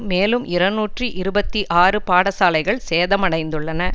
மேலும் இருநூற்றி இருபத்தி ஆறு பாடசாலைகள் சேதமடைந்துள்ளன